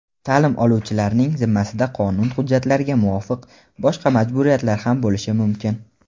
Ta’lim oluvchilarning zimmasida qonun hujjatlariga muvofiq boshqa majburiyatlar ham bo‘lishi mumkin.